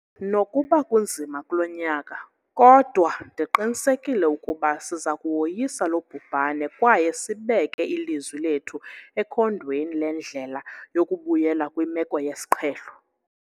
Nokuba kunzima kulo nyaka, kodwa ndiqinisekile ukuba siza kuwoyisa lo bhubhane kwaye sibeke ilizwi lethu ekhondweni lendlela yokubuyela kwimeko yesiqhelo.